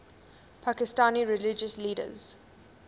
pakistani religious leaders